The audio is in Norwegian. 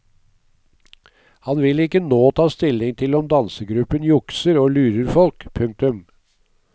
Han vil ikke nå ta stilling til om dansegruppen jukser og lurer folk. punktum